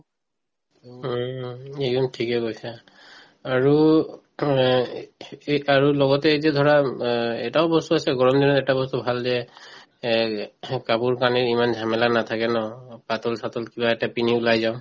উম উম উম, ঠিকে কৈছা আৰু অ এই কাৰো লগতে এই যে ধৰা উম অ এটাও বস্তু আছে গৰম দিনত এটা বস্তু ভাল যে এহ্ কাপোৰ কানিৰ ইমান জামেলা নাথাকে ন পাতল চাতল কিবা এটা পিন্ধি ওলাই যাওঁ